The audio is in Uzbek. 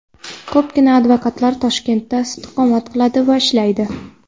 Ko‘pgina advokatlar Toshkentda istiqomat qiladi va ishlaydi.